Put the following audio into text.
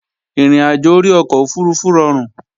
Ìrìnàjò orí ọkọ̀ òfurufú rọrùn